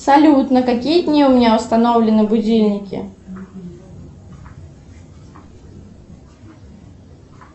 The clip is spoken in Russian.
салют на какие дни у меня установлены будильники